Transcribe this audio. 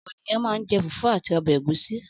Ọ̀pọ̀ ènìyàn máa ń jẹ fùfú àti ọbẹ̀ ẹ̀gúsí.